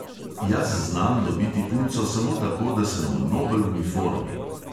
Jaz znam dobiti punco samo tako, da sem nobel v uniformi.